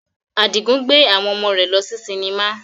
Adigun gbe awon omo re lo si sinima